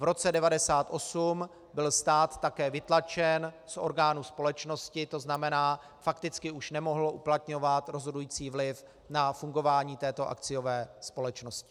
V roce 1998 byl stát také vytlačen z orgánů společnosti, to znamená, fakticky už nemohl uplatňovat rozhodující vliv na fungování této akciové společnosti.